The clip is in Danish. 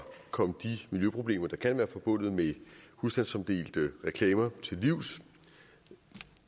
komme de miljøproblemer der kan være forbundet med husstandsomdelte reklamer til livs